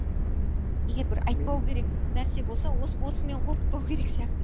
ммм егер бір айтпау керек нәрсе болса осымен қорқытпау керек сияқты